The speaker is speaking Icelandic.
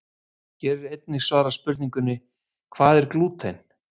Hér er einnig svarað spurningunum: Hvað er glúten?